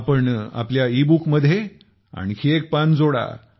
आपण आपल्या e book मध्ये एक आणखी पान जोडा